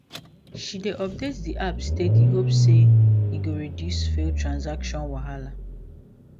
she dey update the app steady hope say e go reduce failed transaction wahala